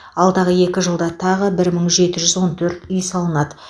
алдағы екі жылда тағы бір мың жеті жүз он төрт үй салынады